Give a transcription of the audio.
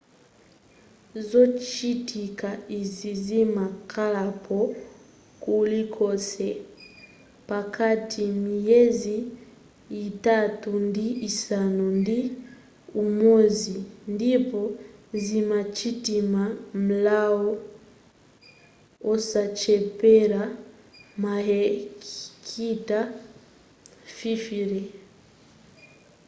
zochitika izi zimakhalapo kulikonse pakati miyezi yitatu ndi isanu ndi umodzi ndipo zimachitima m'malo osachepera mahekita 50